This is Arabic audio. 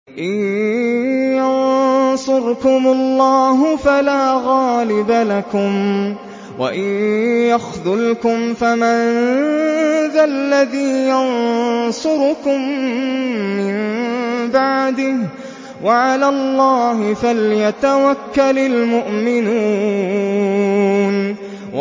إِن يَنصُرْكُمُ اللَّهُ فَلَا غَالِبَ لَكُمْ ۖ وَإِن يَخْذُلْكُمْ فَمَن ذَا الَّذِي يَنصُرُكُم مِّن بَعْدِهِ ۗ وَعَلَى اللَّهِ فَلْيَتَوَكَّلِ الْمُؤْمِنُونَ